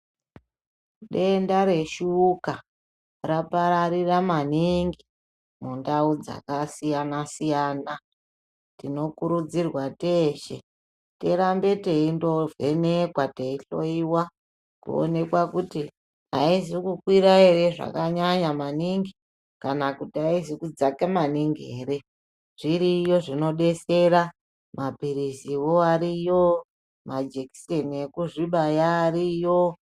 Denda reshuka rapararira maningi mundau dzakasiyana-siyana. Tinokurudzirwa teshe tirambe teindovhenekwa teihloiwa kuonekwa kuti haizi kukwira ere zvakanyanya maningi. Kana kuti haizi kudzaka maningi ere, zviriyo zvinobetsera maphirizivo ariyo majekiseni ekuzvibaya ariyo.